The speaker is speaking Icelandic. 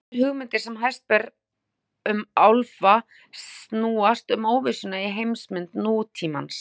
Þær hugmyndir sem hæst ber um álfa snúast um óvissuna í heimsmynd nútímans.